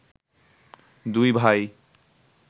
দুই ভাই